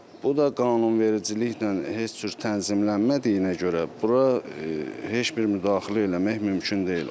Bu da qanunvericiliklə heç cür tənzimlənmədiyinə görə bura heç bir müdaxilə eləmək mümkün deyil.